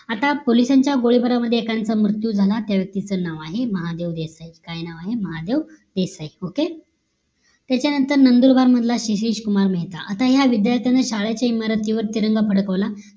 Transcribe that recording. आता पोलिसांचा गोळीबार मध्ये एकाचं मृत्यू झाला त्या व्यक्तीच नाव आहे महादेव देसाई काय नाव महादेव देसाई okay त्याच्या नंतर नंदुरबार मधला आहे सीसीज कुमार मेहता आता या विद्यार्थ्यानं शाळेच्या इमारतीवर तिरंगा फडकावलं